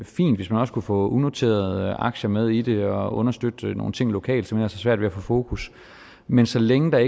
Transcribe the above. fint hvis man også kunne få unoterede aktier med i det og understøtte nogle ting lokalt som har så svært ved at få fokus men så længe der